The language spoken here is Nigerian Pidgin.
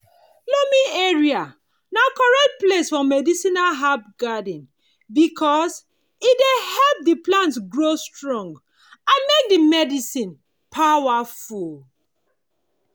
loamy area na correct place for medicinal herb garden because e dey help the plant grow strong and make the medicine power full.